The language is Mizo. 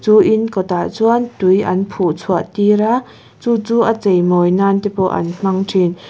chu in kawtah chuan tui an phuh chhuah tir a chu chu a chei mawi nan te pawh an hmang thin.